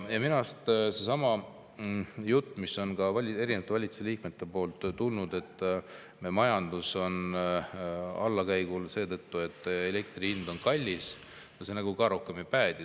Ja minu arust see jutt, mis on ka erinevate valitsuse liikmete suust, et meie majandus on allakäigul seetõttu, et elektri hind on kallis, nagu enam ei päde.